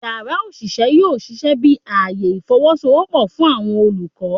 Yara oṣiṣẹ yoo ṣiṣẹ bi aaye ifowosowopo fun awọn olukọ